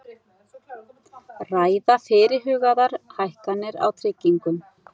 Ræða fyrirhugaðar hækkanir á tryggingum